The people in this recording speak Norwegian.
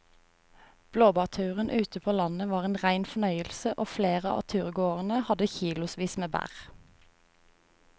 Blåbærturen ute på landet var en rein fornøyelse og flere av turgåerene hadde kilosvis med bær.